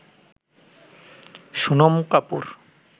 Sonam Kapoor